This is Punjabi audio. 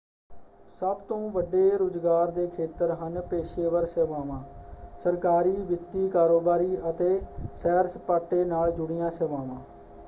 ਸਭ ਤੋਂ ਵੱਡੇ ਰੁਜ਼ਗਾਰ ਦੇ ਖੇਤਰ ਹਨ ਪੇਸ਼ੇਵਰ ਸੇਵਾਵਾਂ ਸਰਕਾਰੀ ਵਿੱਤੀ ਕਾਰੋਬਾਰੀ ਅਤੇ ਸੈਰ-ਸਪਾਟੇ ਨਾਲ ਜੁੜੀਆਂ ਸੇਵਾਵਾਂ।